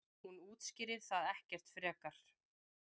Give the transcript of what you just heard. Hún útskýrir það ekkert frekar.